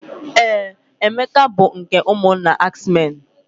Ee, Emeke bụ nke ụmụnna ax men.